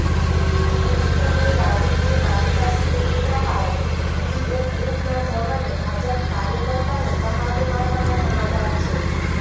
પુષ્કરની રાજકીય બાલિકા સ્કૂલની બહાર બીએસએફના જવાને ભાજપ કાર્યકર્તાને તમાચો મારવાના સમાચાર છે